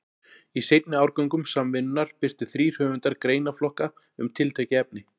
Í seinni árgöngum Samvinnunnar birtu þrír höfundar greinaflokka um tiltekin efni.